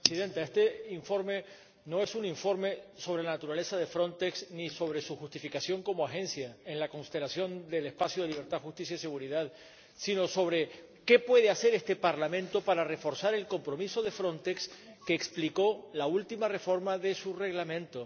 Señora Presidenta, este informe no es un informe sobre la naturaleza de Frontex ni sobre su justificación como agencia en la constelación del espacio de libertad, justicia y seguridad, sino sobre qué puede hacer este Parlamento para reforzar el compromiso de Frontex que explicó la última reforma de su Reglamento.